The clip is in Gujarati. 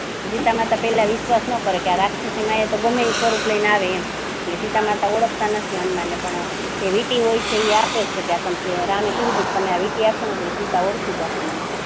સીતામાતા પહેલા વિશ્વાસ ના કરે કે આ તો રાક્ષસી માયા તો ગમે તે સ્વરુપ લઈ ને આવે એમ સીતામાતા ઓળખતા નથી હનુમાન ને એ વીંટી હોય છે એ આપે છે કે આ તમે આ વીંટી આપ્શો ને એટલે સીતા ઓળખી જશે મને